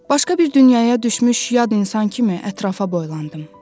Başqa bir dünyaya düşmüş yad insan kimi ətrafa boylandım.